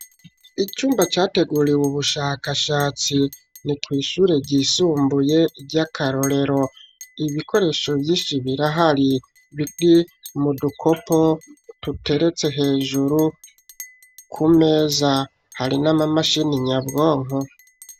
Icumba categuriwe ubushakashatsi ni kw'ishure ryisumbuye ry'akarorero ibikoresho vy'inshi birahari biri mudukopo tuteretse hejuru ku meza hari na mamashini nyabwonko.